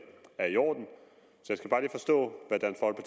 er i orden så